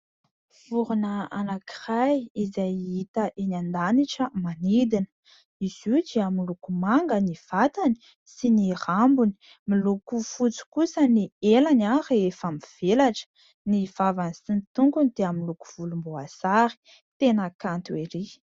Vorona anankiray izay hita eny an-danitra, manidina ; izy io dia miloko manga ny vatany sy ny rambony, miloko fotsy kosa ny elany rehefa mivelatra, ny vavany sy ny tongony dia miloko volomboasary. Tena kanto erỳ.